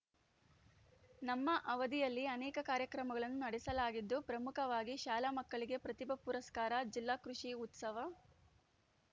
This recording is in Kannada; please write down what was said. ನಮ್ಮ ಅವಧಿಯಲ್ಲಿ ಅನೇಕ ಕಾರ್ಯಕ್ರಮಗಳನ್ನು ನಡೆಸಲಾಗಿದ್ದು ಪ್ರಮುಖವಾಗಿ ಶಾಲಾ ಮಕ್ಕಳಿಗೆ ಪ್ರತಿಭಾ ಪುರಸ್ಕಾರ ಜಿಲ್ಲಾ ಕೃಷಿ ಉತ್ಸವ